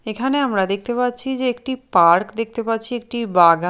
এখানে আমরা দেখতে পাচ্ছি যে একটি পার্ক দেখতে পাচ্ছি একটি বাগা--